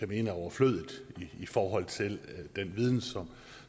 mene er overflødige i forhold til den viden